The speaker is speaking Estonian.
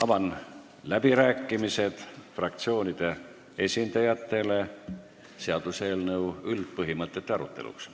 Avan läbirääkimised fraktsioonide esindajatele seaduseelnõu üldpõhimõtete aruteluks.